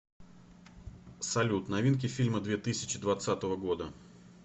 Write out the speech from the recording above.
салют новинки фильма две тысячи двадцатого года